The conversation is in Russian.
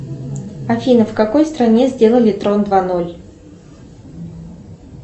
афина в какой стране сделали трон два ноль